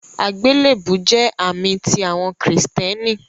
Agbélebú jẹ̀ àmì tí awọn Kristiánì.